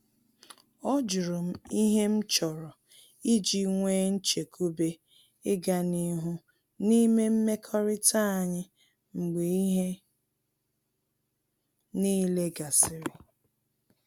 Ọ jụrụ m ihe m chọrọ iji nwee nchekwube ịga n’ihu n’ime mmekọrịta anyị mgbe ihe niile gasịrị